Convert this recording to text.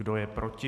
Kdo je proti?